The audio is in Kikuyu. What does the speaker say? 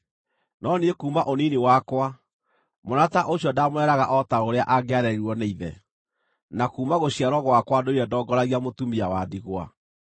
(no niĩ kuuma ũnini wakwa, mwana ta ũcio ndaamũreraga o ta ũrĩa angĩarerirwo nĩ ithe, na kuuma gũciarwo gwakwa ndũire ndongoragia mũtumia wa ndigwa)